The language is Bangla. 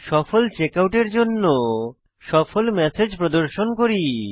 সফল চেকআউট এর জন্য সফল ম্যাসেজ প্রদর্শন করি